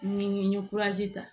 Ni n ye ta